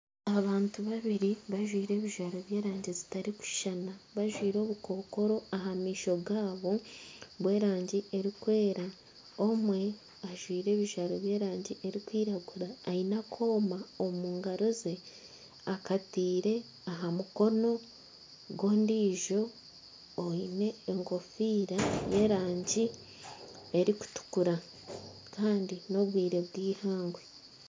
Abantu babiri bajwaire ebijwaro by'erangi zitarikushushana bajwaire obukokooro aha maisho gaabo bw'erangi erikwera omwe ajwaire ebijwaro by'erangi erikwiragura aine akooma omu ngaro ze akataire aha mukono gw'ondijo oine ekofiira y'erangi erikutukura kandi n'obwire bw'eihangwe.